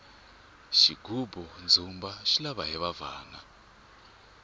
xigubu ndzumba xi lava hiva bvana